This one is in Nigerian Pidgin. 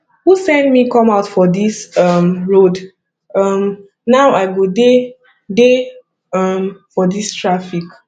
who send me come out for dis um road um now i go dey dey um for dis traffic